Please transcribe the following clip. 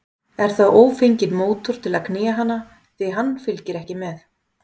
Er þá ófenginn mótor til að knýja hana, því hann fylgir ekki með.